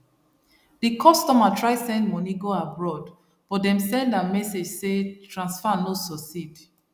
the customer try send money go abroad but dem send am message say transfer no succeed